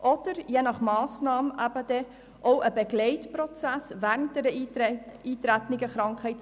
Je nach Massnahme ist es auch ein Begleitprozess während einer eingetretenen Krankheit.